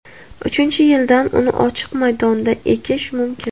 Uchinchi yildan uni ochiq maydonda ekish mumkin.